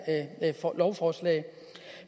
lovforslag